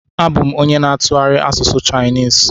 Abụ m onye ntụgharị asụsụ Chainis